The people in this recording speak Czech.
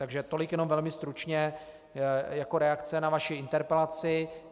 Takže tolik jenom velmi stručně jako reakce na vaši interpelaci.